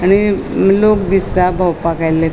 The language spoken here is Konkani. आणि लोक दिसता बोवपाक आयले.